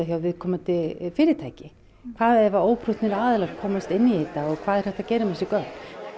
hjá viðkomandi fyrirtæki hvað ef óprúttnir aðilar komast inn í þetta og hvað er hægt að gera með þessi gögn